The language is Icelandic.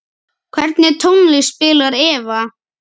Hvernig tónlist spilar Eva?